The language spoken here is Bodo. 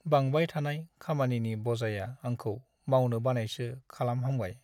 बांबाय थानाय खामानिनि बजाया आंखौ मावनो बानायसो खालामहांबाय।